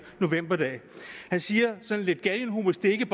novemberdag han siger sådan lidt galgenhumoristisk